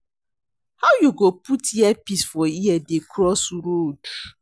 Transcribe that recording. How you go put earpiece for ear dey cross road?